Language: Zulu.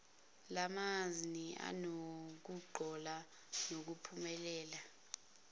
ngalamazni anokungcola kunomphumela